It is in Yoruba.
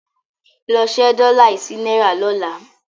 Lọ ṣe dollar yìí sí náírà lọ́la.